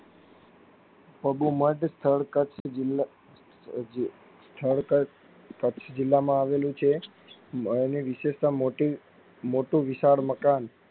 મઘુમઢ સ્થળ કચ્ જિલ્લો સ્થળ કચ્છ કચ્છ જિલ્લા માં આવેલું છે આની વિશિષ્ટતા મોટી મોટી વિશાળ મકાન